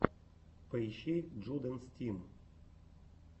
поищи джудэнс тим